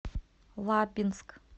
лабинск